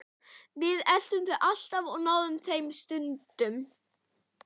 Við eltum þau alltaf og náðum þeim stundum.